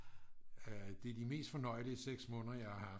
det er de mest fornøjelige 6 måneder jeg har haft